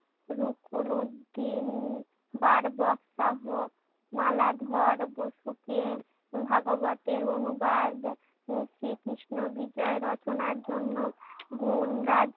রুকুনুদ্দীন বার্বোক্তহ মালাধর বৈফুকে ভাগবতের অনুবাদ শ্রী কৃষ্ণ বিজয় রচনার জন্য গুন্ গাই।